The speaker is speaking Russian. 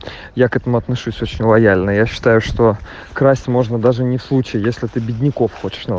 я к этому отношусь очень лояльно я считаю что красить можно даже не случай если ты бедняков